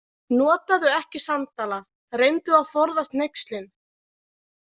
Notaðu ekki sandala, reyndu að forðast hneykslin.